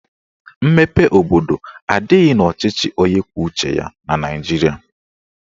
Mmepe obodo adịghị n'ọchịchị onye kwuo uche ya na Naijiria